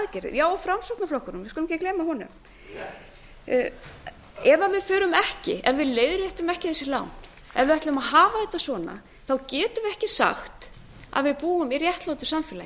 já og framsóknarflokkurinn við skulum ekki gleyma honum ef við leiðréttum ekki þessi lán ef við ætlum að hafa þetta svona þá getum við ekki sagt að við búum í réttlátu samfélagi